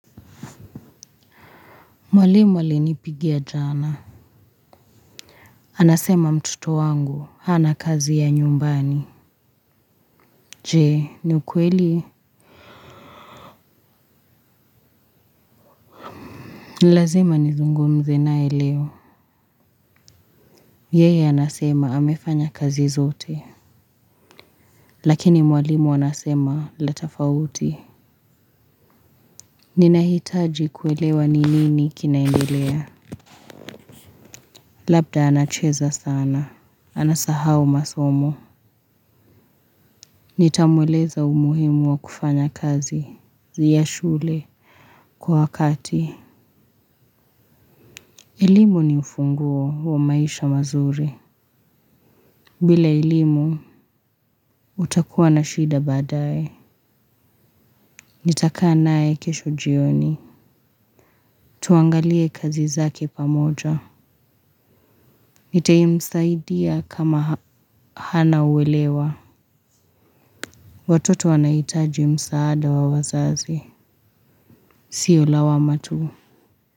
Mwalimu aliyenipigia jana. Anasema mtoto wangu. Hana kazi ya nyumbani. Jee, ni ukweli? Nilazima nizungumze naye leo. Yeye anasema amefanya kazi zote. Lakini mwalimu anasema tofauti. Ninahitaji kuelewa ninini kinaendelea. Labda anacheza sana. Anasahau masomo. Nitamweleza umuhimu wa kufanya kazi. Ni ya shule. Kwa wakati. Elimu ni ufunguo wa maisha mazuri. Bila elimu, utakuwa na shida baadaye. Nitakaa naye kesho jioni. Tuangalie kazi zake pamoja. Nitamsaidia kama hana uelewa. Watoto wanahitaji msaada wa wazazi. Sio lawama tu.